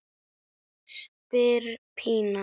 spyr Pína.